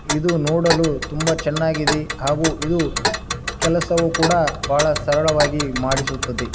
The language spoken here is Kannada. ಇದು ನೋಡಲು ತುಂಬಾ ಚೆನ್ನಾಗಿದೆ ಹಾಗೂ ಇದು ಕೆಲಸವೂ ಕೂಡ ಬಹಳ ಸರಳವಾಗಿ ಮಾಡಿಸುತ್ತದೆ.